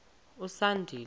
usandile